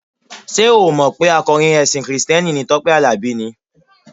Ṣé o ò mọ̀ pé akọrin ẹṣin kìrìsìtẹ́nì ni Tọ́pẹ́ Àlàbí ni?